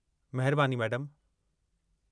महिरबानी, मैडमु।